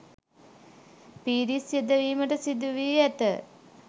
පිරිස් යෙදවීමට සිදුවී ඇත.